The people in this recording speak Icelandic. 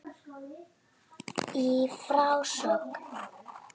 Í frásögn